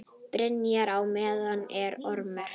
Barnið í mér er ormur.